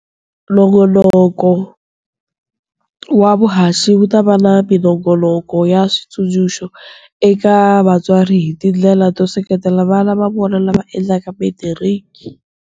Nongonoko wa vuhaxi wu ta va na minongonoko ya switsundzuxo eka vatswari hi tindlela to seketela vana va vona lava endlaka Metiriki.